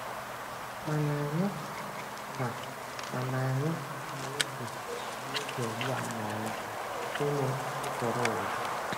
Mana Anyị na Mana Anyị na egwu tigbuo, zọgbuo anọla site n'ekere ụwa.